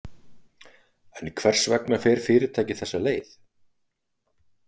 En hvers vegna fer fyrirtækið þessa leið?